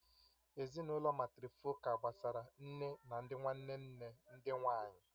Ezinụlọ màtrịfọ̀kal gbasara nne na ndị nwanne nne ndị nwanyị